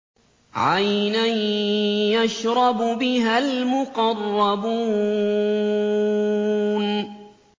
عَيْنًا يَشْرَبُ بِهَا الْمُقَرَّبُونَ